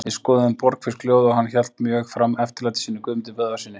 Við skoðuðum Borgfirsk ljóð og hann hélt mjög fram eftirlæti sínu Guðmundi Böðvarssyni.